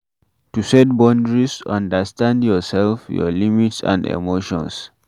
To set boundries, understand your self, your limits and emotions